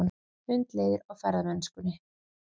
Hundleiðir á ferðamennskunni